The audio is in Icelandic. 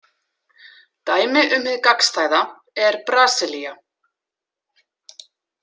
Dæmi um hið gagnstæða er Brasilía.